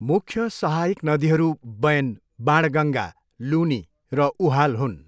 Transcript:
मुख्य सहायक नदीहरू बैन, बाणगङ्गा, लुनी र उहाल हुन्।